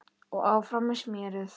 Og áfram með smérið.